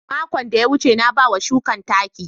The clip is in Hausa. Makon da ya wuce, na ba wa shukan taki.